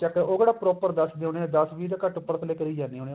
ਉਹ ਕਿਹੜਾ proper ਦੱਸ ਦੇ ਹੋਣੇ ਦਸ ਵੀਹ ਤਾਂ ਘੱਟ ਉੱਪਰ ਥੱਲੇ ਕਰੀ ਜਾਂਦੇ ਹੋਣੇ